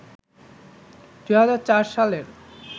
২০০৪ সালের